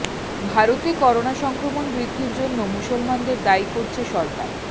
ভারতে করোনা সংক্রমণ বৃদ্ধির জন্য মুসলমানদের দায়ী করছে সরকার